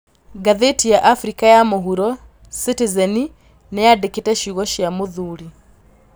Ngathĩti ya Afrika ya mũhuro, Sitizeni, nĩyandĩkĩte cĩugo cia mũthuri